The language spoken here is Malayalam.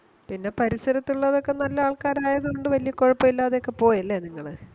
പിന്നെ പരിസരത്തുള്ളതൊക്കെ നല്ല ആൾക്കാരായതുകൊണ്ട് വല്യ കൊഴപ്പിലതൊക്കെ പോയല്ലെ നിങ്ങള്